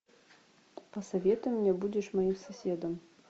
посоветуй мне будешь моим соседом